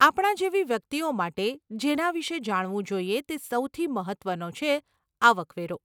આપણા જેવી વ્યક્તિઓ માટે, જેના વિષે જાણવું જોઈએ તે સૌથી મહત્વનો છે આવક વેરો.